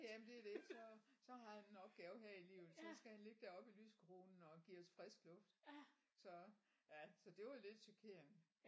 Jamen det er det så så har han en opgave her i livet så skal han ligge deroppe i lysekronen og give os frisk luft så ja så det var lidt chokerende